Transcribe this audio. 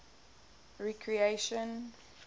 recreation